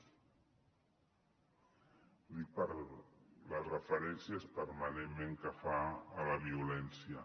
ho dic per les referències permanentment que fa a la violència